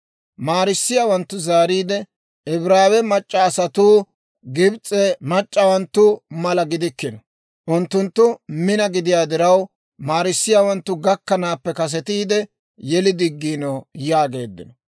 Maarissiyaawanttu zaariide, «Ibraawe mac'c'a asatuu Gibs'e mac'c'awanttu mala gidikkino; unttunttu mina gidiyaa diraw, maarissiyaawanttu gakkanaappe kasetiide yeli diggiino» yaageeddino.